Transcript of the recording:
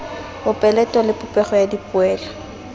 mopeleto le popego ya dipolelo